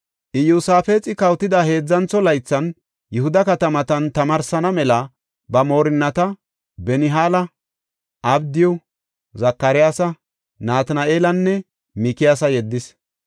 Iyosaafexi kawotida heedzantho laythan Yihuda katamatan tamaarsana mela ba moorinnata Benihaala, Abdiyu, Zakariyasa, Natina7eelanne Mikiyaasa yeddis.